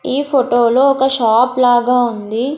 ఈ ఫొటో లో ఒక షాప్ లాగా ఉంది.